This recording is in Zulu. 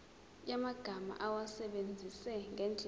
yamagama awasebenzise ngendlela